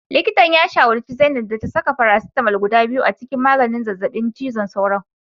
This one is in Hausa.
Likitan ya shawarci zainab da ta saka paracetamol guda biyu a cikin maganin zazzabin cizon sauro